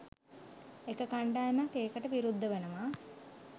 එක කණ්ඩායමක් ඒකට විරුද්ධ වනවා.